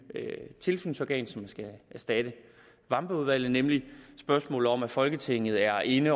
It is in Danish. tilsynsorgan som skal erstatte vambergudvalget nemlig spørgsmålet om at folketinget er inde